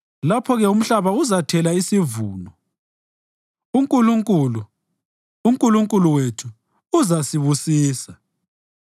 Lapho-ke umhlaba uzathela isivuno, uNkulunkulu, uNkulunkulu wethu, uzasibusisa.